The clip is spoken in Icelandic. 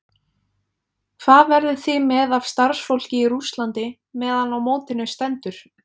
Hvað verðið þið með af starfsfólki í Rússlandi meðan á mótinu stendur?